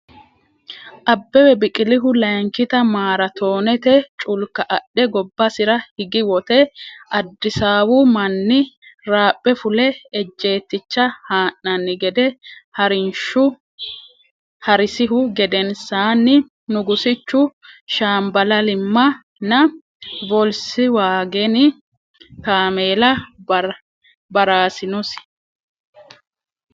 Abbebe Biqilihu layinkita maaraatoonete culka adhe gobbasira higi wote Addisaawu manni raaphe fule ejjeetticha haa’nanni gede haa’risihu gedensaanni Nugusichu shaamballimma nna voolswaagene kaameela ba’raasinosi.